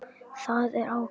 Það er ágætt.